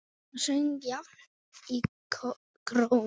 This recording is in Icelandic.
Mamma söng jafnan í kórum.